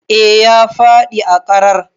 Eh ya fadi a ƙarar.